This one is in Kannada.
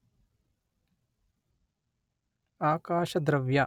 ಆಕಾಶದ್ರವ್ಯ